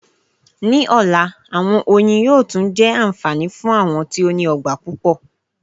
Ní ọ̀la, àwọn ẹnyìn yóò tún jẹ́ anfani fún àwọn tí ó ní ọgbà pupọ.